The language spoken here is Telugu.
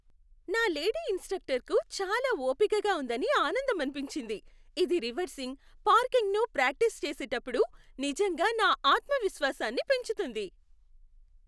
నా లేడీ ఇన్స్ట్రక్టర్కు చాలా ఓపికగా ఉందని ఆనందమనిపించింది, ఇది రివర్సింగ్, పార్కింగ్ను ప్రాక్టీసు చేసేటప్పుడు నిజంగా నా ఆత్మవిశ్వాసాన్ని పెంచుతుంది.